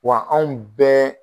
Wa anw bɛɛ